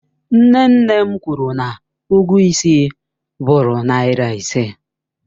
Nne nne m kwụrụ na ụgwọ ịsị bụụrụ naira ise.